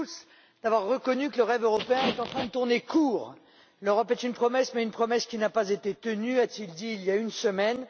Schulz d'avoir reconnu que le rêve européen était en train de tourner court. L'Europe est une promesse, mais une promesse qui n'a pas été tenue, a t il dit il y a une semaine.